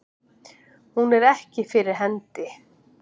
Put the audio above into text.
Hún er ekki fyrir hendi.